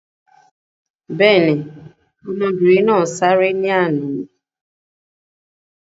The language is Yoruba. Bẹ́ẹ̀ ni, ọmọbìnrin náà sáré lánàá.